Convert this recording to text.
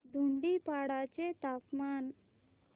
धुडीपाडा चे तापमान